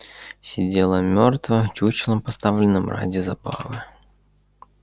сидела мёртво чучелом поставленным ради забавы